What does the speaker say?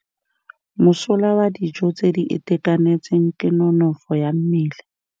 Mosola wa dijô tse di itekanetseng ke nonôfô ya mmele.